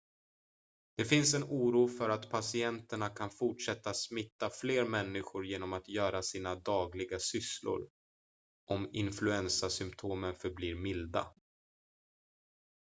det finns en oro för att patienterna kan fortsätta smitta fler människor genom att göra sina dagliga sysslor om influensasymptomen förblir milda